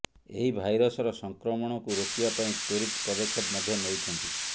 ଏହି ଭାଇରସର ସଂକ୍ରମଣକୁ ରୋକିବା ପାଇଁ ତ୍ୱରିତ ପଦକ୍ଷେପ ମଧ୍ୟ ନେଉଛନ୍ତି